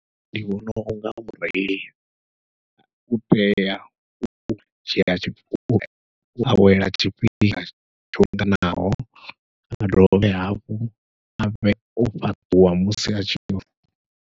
Ndi vhona unga mureili u tea u dzhia u awela tshifhinga tsho linganaho, a dovhe hafhu avhe o fhaṱuwa musi atshi.